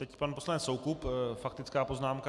Teď pan poslanec Soukup - faktická poznámka.